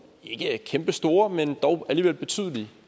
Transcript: ikke kæmpestore men dog alligevel betydelige